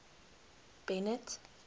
bennet